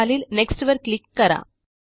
खालील नेक्स्ट वर क्लिक करा